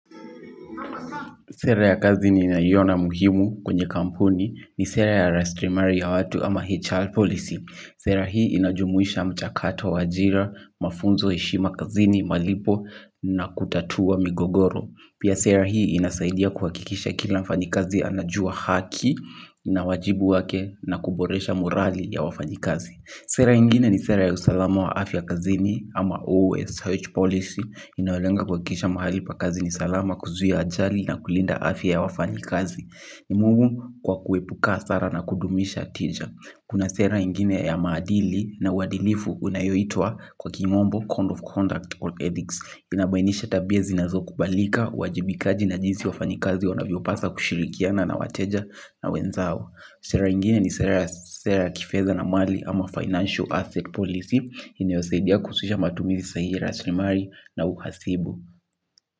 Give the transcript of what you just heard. Sera ya kazini ninaiona muhimu kwenye kampuni ni sera ya rasilimali watu ama HR policy. Sera hii inajumuisha mchakato wa ajira mafunzo heshima kazini malipo na kutatua migogoro. Pia sera hii inasaidia kuhakikisha kila mfanyakazi anajua haki na wajibu wake na kuboresha morali ya wafanyikazi. Sera ingine ni sera ya usalama wa afya ya kazini ama OSH policy inayolenga kuhakikisha mahali pa kazi ni salama kuzuia ajali na kulinda afya ya wafanyakazi. Ni muhimu kwa kuepuka hasara na kudumisha tija. Kuna sera ingine ya maadili na uwadilifu unayoitwa kwa kimombo Code of Conduct or Ethics. Inabainisha tabia zinazokubalika, wajibikaji na jinsi wafanyikazi wanavyopaswa kushirikiana na wateja na wenzao. Sera ingine ni sera ya kifedha na mali ama financial asset policy inayosaidia kuhusisha matumizi sahihi rasilimali na uhasibu.